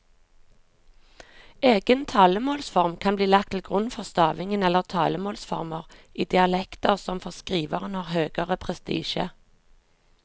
Egen talemålsform kan bli lagt til grunn for stavingen eller talemålsformer i dialekter som for skriveren har høgere prestisje.